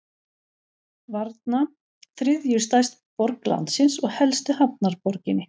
Varna, þriðju stærstu borg landsins og helstu hafnarborginni.